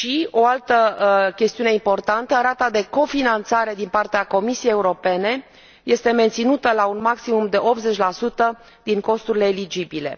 O altă chestiune importantă rata de cofinanțare din partea Comisiei Europene este menținută la un maximum de 80 din costurile eligibile.